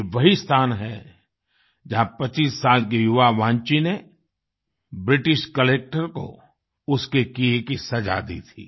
ये वही स्थान है जहाँ 25 साल के युवा वान्ची ने ब्रिटिश कलेक्टर को उसके किये की सजा दी थी